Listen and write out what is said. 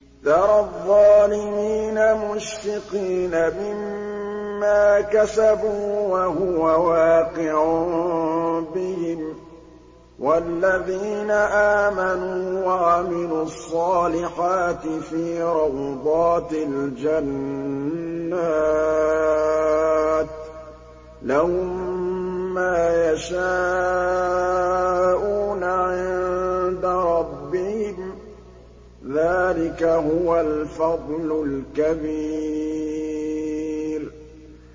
تَرَى الظَّالِمِينَ مُشْفِقِينَ مِمَّا كَسَبُوا وَهُوَ وَاقِعٌ بِهِمْ ۗ وَالَّذِينَ آمَنُوا وَعَمِلُوا الصَّالِحَاتِ فِي رَوْضَاتِ الْجَنَّاتِ ۖ لَهُم مَّا يَشَاءُونَ عِندَ رَبِّهِمْ ۚ ذَٰلِكَ هُوَ الْفَضْلُ الْكَبِيرُ